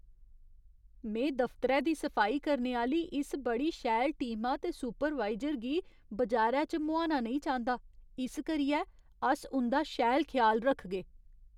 में दफतरै दी सफाई करने आह्‌ली इस बड़ी शैल टीमा ते सुपरवाइजर गी बजारै च मुहाना नेईं चांह्दा। इस करियै, अस उं'दा शैल ख्याल रखगे।